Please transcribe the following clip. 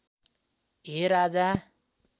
हे राजा